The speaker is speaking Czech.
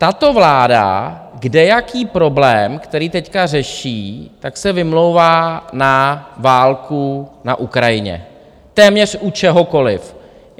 Tato vláda kdejaký problém, který teď řeší, tak se vymlouvá na válku na Ukrajině, téměř u čehokoliv.